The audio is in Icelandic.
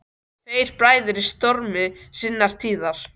Tveir bræður í stormi sinnar tíðar.